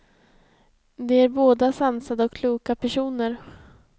De är båda sansade och kloka personer.